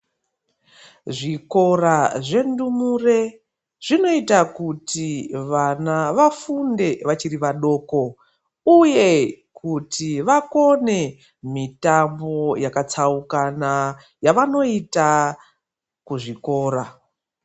Zvikora zvendumure ,zvinoita kuti ,vana vafunde vachiri vadoko, uye kuti vakone mitambo yakatsaukana, yavanoita kuzvikora.